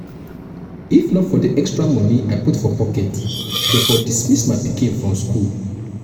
if um not for the extra money i um put for pocket dey for dismiss my pikin from um school